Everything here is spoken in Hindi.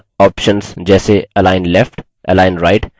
align left align right